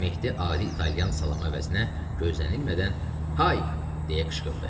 Mehdi adi italyan salam əvəzinə gözlənilmədən “Hay!” deyə qışqırdı.